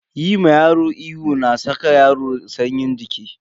Yi ma yaro ihu na saka yaro sanyin jiki.